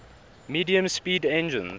medium speed engines